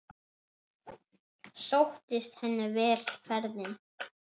Sóttist henni vel ferðin.